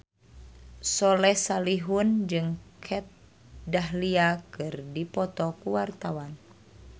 Soleh Solihun jeung Kat Dahlia keur dipoto ku wartawan